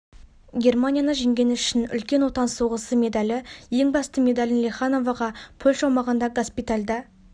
германияны жеңгені үшін үлкен отан соғысы медалі ең басты медалін лехановаға польша аумағында госпитальда